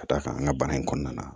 Ka d'a kan an ka baara in kɔnɔna na